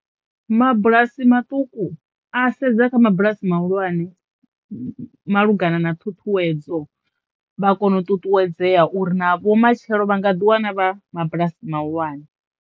Mabulasi maṱuku a sedza kha mabulasi mahulwane malugana na ṱhuṱhuwedzo vha kono u ṱuṱuwedzea uri na vho matshelo vha nga ḓi wana vha mabulasi mahulwane.